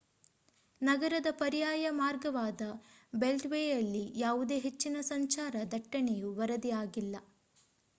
ನಗರದ ಪರ್ಯಾಯ ಮಾರ್ಗವಾದ ಬೆಲ್ಟ್‌ವೇಯಲ್ಲಿ ಯಾವುದೇ ಹೆಚ್ಚಿನ ಸಂಚಾರ ದಟ್ಟಣೆಯು ವರದಿಯಾಗಿಲ್ಲ